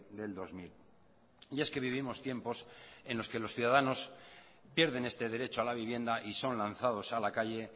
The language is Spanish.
del dos mil y es que vivimos tiempos en los que los ciudadanos pierden este derecho a la vivienda y son lanzados a la calle